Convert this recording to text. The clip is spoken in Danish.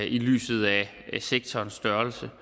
i lyset af sektorens størrelse